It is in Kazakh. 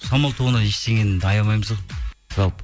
самал тобынан ештеңені аямаймыз ғой жалпы